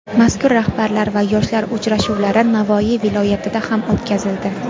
Mas’ul rahbarlar va yoshlar uchrashuvlari Navoiy viloyatida ham o‘tkazildi.